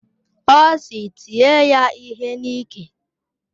Ọ sị, tie ya ihe n'iké!